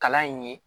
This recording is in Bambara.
Kalan in ye